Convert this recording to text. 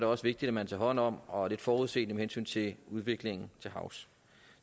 også vigtigt at man tager hånd om og er lidt forudseende med hensyn til udviklingen til havs